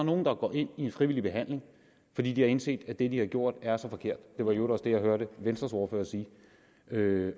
nogle der går ind i en frivillig behandling fordi de har indset at det de har gjort er så forkert det var i øvrigt også det jeg hørte venstres ordfører sige det